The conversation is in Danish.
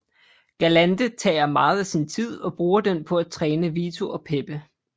Galante tager meget af sin tid og bruger den på at træne Vito og Pepe